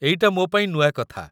ଏଇଟା ମୋ ପାଇଁ ନୂଆ କଥା ।